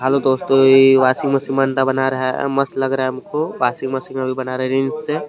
hello दोस्तों यह washing machine बनता बना रहा है मस्त लग रहा है हमको वाशिंग मशीन अभी बना रहा है रील से --